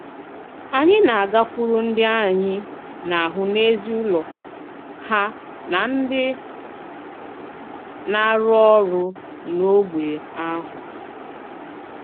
Ànyị̀ na-àgàkwùrù ndị ànyị̀ na-hụ̀ n'èzí ùlọ ha na ndị na-àrụ̀ òrụ̀ n'ógbè ahụ.